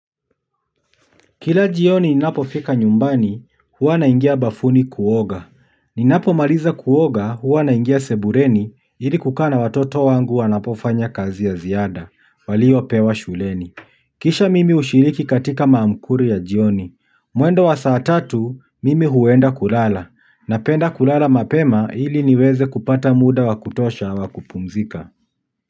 Kila jioni ninapofika nyumbani, huwa naingia bafuni kuoga. Ninapomaliza kuoga, huwa naingia sebuleni, ili kukaa na watoto wangu wanapofanya kazi ya ziada, waliopewa shuleni. Kisha mimi hushiriki katika maamkuru ya jioni. Mwendo wa saa tatu, mimi huenda kulala. Napenda kulala mapema ili niweze kupata muda wa kutosha wa kupumzika.